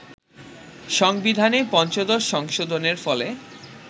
সংবিধানের পঞ্চদশ সংশোধনের ফলে